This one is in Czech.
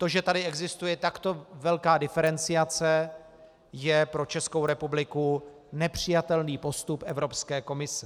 To, že tu existuje takto velká diferenciace, je pro Českou republiku nepřijatelný postup Evropské komise.